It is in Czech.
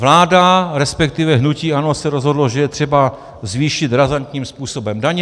Vláda, respektive hnutí ANO se rozhodlo, že je třeba zvýšit razantním způsobem daně.